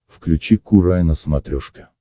включи курай на смотрешке